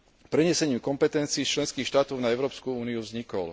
prenesením kompetencií členských štátov na Európsku úniu vznikol.